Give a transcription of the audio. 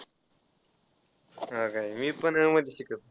हो काय मी पण अ मध्ये शिकतोय.